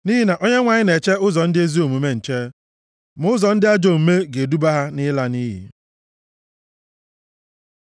Nʼihi na Onyenwe anyị na-eche ụzọ ndị ezi omume nche. Ma ụzọ ndị ajọ omume ga-eduba ha nʼịla nʼiyi.